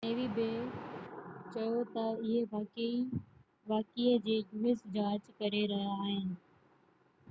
us نيوي بہ چيو تہ اهي واقعي جي جاچ ڪري رهيا آهن